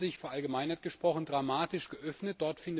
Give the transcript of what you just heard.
Die Länder haben sich verallgemeinert gesprochen dramatisch geöffnet.